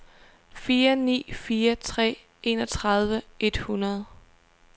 fire ni fire tre enogtredive et hundrede